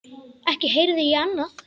Ekki heyrði ég annað.